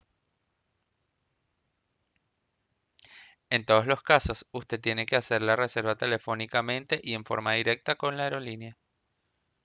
en todos los casos usted tiene que hacer la reserva telefónicamente y en forma directa con la aerolínea